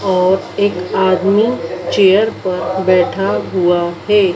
और एक आदमी चेयर पर बैठा हुआ है।